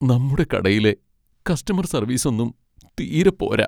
നമ്മുടെ കടയിലെ കസ്റ്റമർ സർവീസൊന്നും തീരെ പോരാ.